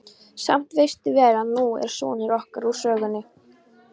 Samt veistu vel að nú er sonur okkar úr sögunni.